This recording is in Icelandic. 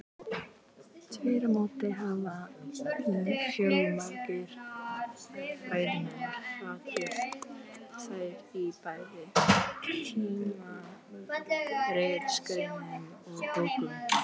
Þvert á móti hafa fjölmargir fræðimenn hrakið þær í bæði tímaritsgreinum og bókum.